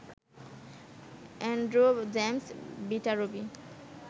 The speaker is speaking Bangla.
Andrew James Viterbi